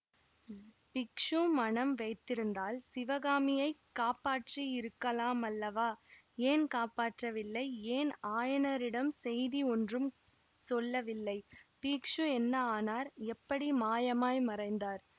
பிக்ஷு மனம் வைத்திருந்தால் சிவகாமியை காப்பாற்றியிருக்கலாமல்லவா ஏன் காப்பாற்றவில்லை ஏன் ஆயனரிடம் செய்தி ஒன்றும் சொல்லவில்லை பிக்ஷு என்ன ஆனார் எப்படி மாயமாய் மறைந்தார்